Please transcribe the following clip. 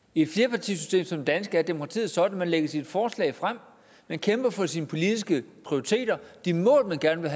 i et flerpartisystem som det danske er demokratiet sådan at man lægger sit forslag frem at man kæmper for sine politiske prioriteter de mål man gerne vil